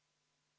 Aitäh!